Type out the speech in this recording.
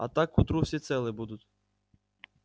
а так к утру все целы будут